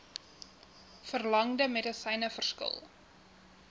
verlangde medisyne verskil